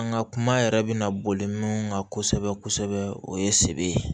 An ka kuma yɛrɛ bɛna boli min kan kosɛbɛ kosɛbɛ o ye se ye